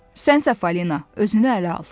Sənsə Falina, özünü ələ al.